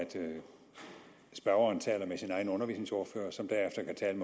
spørgeren taler med sin egen undervisningsordfører som derefter kan